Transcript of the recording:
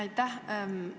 Aitäh!